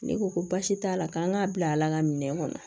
Ne ko ko baasi t'a la k'an k'a bila ala nka minɛn kɔnɔ